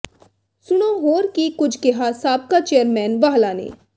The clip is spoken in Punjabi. ਸੁਣੋਂ ਹੋਰ ਕੀ ਕੁਝ ਕਿਹਾ ਸਾਬਕਾ ਚੇਅਰਮੈਨ ਵਾਹਲਾ ਨੇ